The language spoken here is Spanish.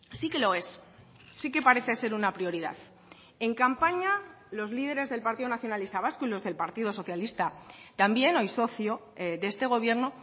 sí que lo es sí que parece ser una prioridad en campaña los líderes del partido nacionalista vasco y los del partido socialista también hoy socio de este gobierno